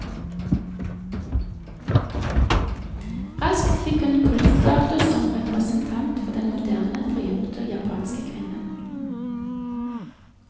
Raskt fikk hun kultstatus som representant for den moderne, frigjorte japanske kvinnen.